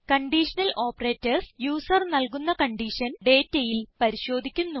conditional operators user നല്കുന്ന condition ഡേറ്റയിൽ പരിശോധിക്കുന്നു